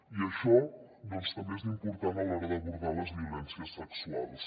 i això també és important a l’hora d’abordar les violències sexuals